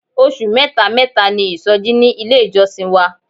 Oṣù mẹ́ta mẹ́ta ni isoji ní ilé ìjọsìn wa.